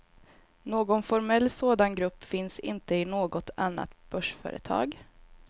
Någon formell sådan grupp finns inte i något annat börsföretag.